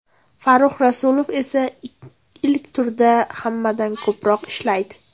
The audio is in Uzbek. Farrux Rasulov esa ilk turda hammadan ko‘proq ishlaydi.